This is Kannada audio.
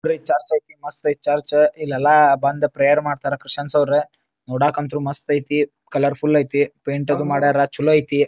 ಬರೇ ಚರ್ಚ್ ಐತಿ ಮಸ್ತ್ ಐತಿ ಚರ್ಚ್ ಇಲ್ಲೆಲ್ಲಾ ಬಂದ ಪ್ರೇಯರ್ ಮಾಡ್ತಾರ ಕ್ರಿಸ್ಟಿಯಾನ್ಸ್ ರವರ ನೋಡಾಕಂತೂ ಮಸ್ತ್ ಐತಿ ಕಲರ್ಫುಲ್ ಐತಿ ಪೇಂಟ ಅದು ಮಾಡ್ಯಾರ ಚಲೋ ಐತಿ.